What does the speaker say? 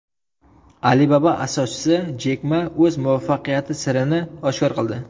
Alibaba asoschisi Jek Ma o‘z muvaffaqiyati sirini oshkor qildi.